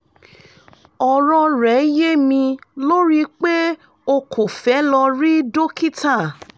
ọ̀rọ̀ rẹ́ yé mi lórí pé o kò fẹ́ lọ rí dókítà